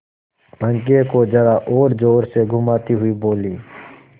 पंखे को जरा और जोर से घुमाती हुई बोली